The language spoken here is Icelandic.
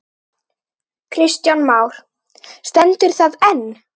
Kristján Már: Stendur það enn?